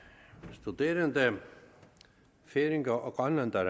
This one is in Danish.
studerende færinger og grønlændere